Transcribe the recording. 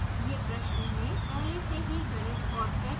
यह प्रश्न में पहले से ही गणित और सेट की गयी है